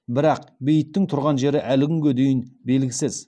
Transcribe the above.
бірақ бейітінің тұрған жері әлі күнге белгісіз